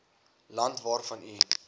land waarvan u